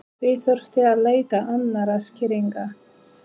Því þurfti að leita annarra skýringa.